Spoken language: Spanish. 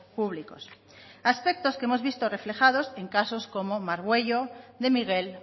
públicos aspectos que hemos visto reflejados en casos como margüello de miguel